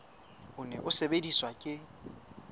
o ne o sebediswa ke